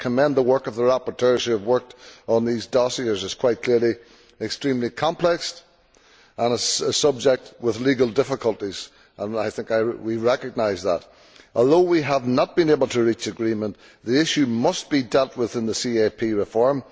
I commend the work of the rapporteurs who have worked on these dossiers. It is quite clearly extremely complex and a subject with legal difficulties. I think we recognise that. Although we have not been able to reach agreement, the issue must be dealt with in the CAP reform.